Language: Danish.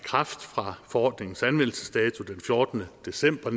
i kraft fra forordningens anvendelsesdato den fjortende december